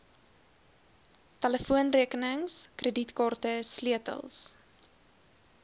telefoonrekenings kredietkaarte sleutels